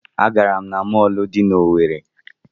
Agara m na mọọlụ dị n'Owerre.